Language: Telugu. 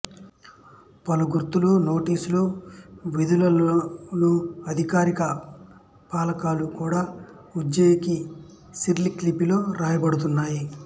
పలు గుర్తులు నోటిసులు వీధులలోని అధికారిక ఫలకాలు కూడా ఉజ్బెకి సిరిలిక్ లిపిలో వ్రాయబడుతున్నాయి